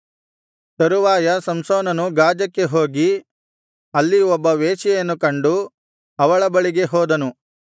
ತರುವಾಯ ಸಂಸೋನನು ಗಾಜಕ್ಕೆ ಹೋಗಿ ಅಲ್ಲಿ ಒಬ್ಬ ವೇಶ್ಯೆಯನ್ನು ಕಂಡು ಅವಳ ಬಳಿಗೆ ಹೋದನು